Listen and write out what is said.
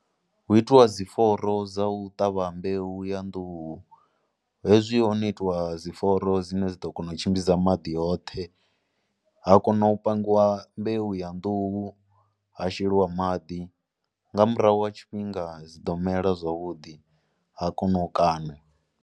Hu itiwa dzi fuloro dza u ṱavha mbeu ya nḓuhu hezwi ho no itiwa dzi fuloro dzine dza ḓo kona u tshimbidza maḓi hoṱhe, ha kona u pangiwa mbeu ya nḓuhu ha sheliwa maḓi nga murahu ha tshifhinga dzi ḓo mela zwavhudi ha kona u kaṋa.